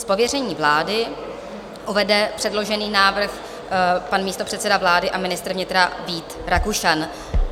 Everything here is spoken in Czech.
S pověřením vlády uvede předložený návrh pan místopředseda vlády a ministr vnitra Vít Rakušan.